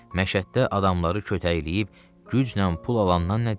Məşəddə adamları kötəkləyib gücnən pul alandan nə deyim?